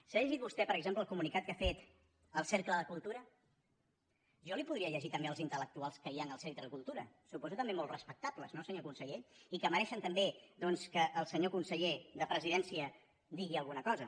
s’ha llegit vostè per exemple el comunicat que ha fet el cercle de cultura jo li podria llegir també els intellectuals que hi han al cercle de cultura suposo que també molt respectables no senyor conseller i que mereixen també que el senyor conseller de la presidència digui alguna cosa